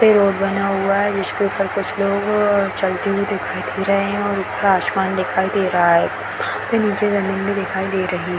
पे रोड बना हुआ है जिसके ऊपर कुछ लोग चलते हुई दिखाई दे रहे हैं और ऊपर आसमान दिखाई दे रहा है | इसके नीचे जमीन भी दिखाई दे रही --